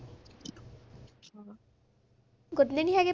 ਗੁਰਨੇ ਨੀ ਹੈਗੇ?